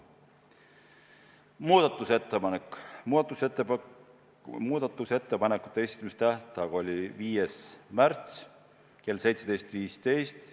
Muudatusettepanekute esitamise tähtaeg oli 5. märts kell 17.15.